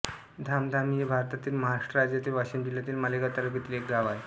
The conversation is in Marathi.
धामधामी हे भारतातील महाराष्ट्र राज्यातील वाशिम जिल्ह्यातील मालेगाव तालुक्यातील एक गाव आहे